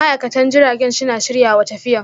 ma'aikatan jiragen suna shiryawa tafiyan.